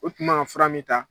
U tun man kafura min ta.